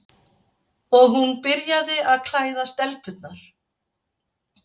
Og hún byrjaði að klæða stelpurnar.